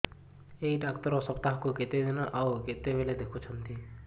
ଏଇ ଡ଼ାକ୍ତର ସପ୍ତାହକୁ କେତେଦିନ ଆଉ କେତେବେଳେ ଦେଖୁଛନ୍ତି